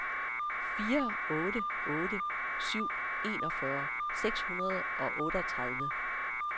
fire otte otte syv enogfyrre seks hundrede og otteogtredive